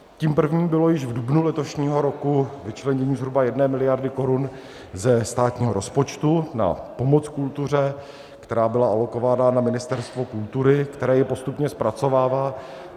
Tím prvním bylo již v dubnu letošního roku vyčlenění zhruba 1 miliardy korun ze státního rozpočtu na pomoc kultuře, která byla alokována na Ministerstvo kultury, které ji postupně zpracovává.